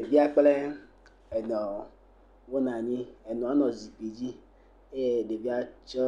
Ɖevia kple enɔ wonɔ anyi. Enɔa le zikpui dzi eye ɖevia tsɔ